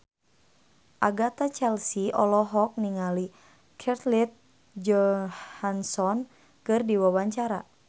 Agatha Chelsea olohok ningali Scarlett Johansson keur diwawancara